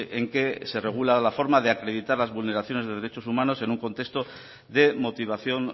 en que se regula la forma de acreditar las vulneraciones de derechos humanos en un contexto de motivación